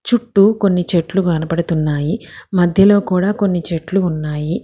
చుట్టూ కొన్ని చెట్లు కనపడుతున్నాయి మధ్యలో కూడా కొన్ని చెట్లు ఉన్నాయి.